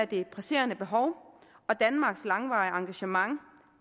det presserende behov og danmarks langvarige engagement